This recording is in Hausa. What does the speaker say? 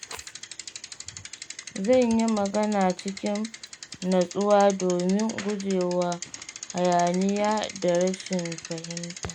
Zan yi magana cikin natsuwa domin gujewa hayaniya da rashin fahimta.